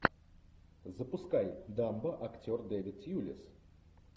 запускай дамбо актер дэвид тьюлис